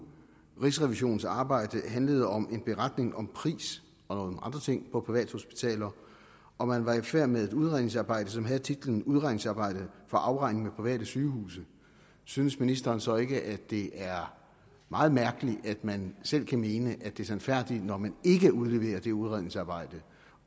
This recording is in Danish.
rigsrevisionens arbejde handlede om en beretning om pris og nogle andre ting på privathospitaler og man var i færd med et udredningsarbejde som havde titlen udredningsarbejde for afregning med private sygehuse synes ministeren så ikke at det er meget mærkeligt at man selv kan mene at det er sandfærdigt når man ikke udleverer det udredningsarbejde